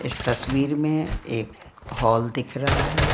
इस तस्वीर में एक हॉल दिख रहा है।